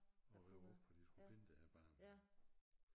Og rive op for de skulle finde det her barn